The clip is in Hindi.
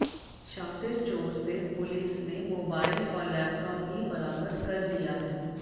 शातिर चोर से पुलिस ने मोबाइल और लैपटॉप भी बरामद कर लिया है